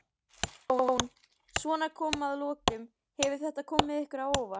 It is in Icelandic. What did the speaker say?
Jón: Svona að lokum, hefur þetta komið ykkur á óvart?